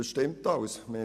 Das stimmt alles.